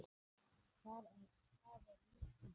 Það er nú týnt.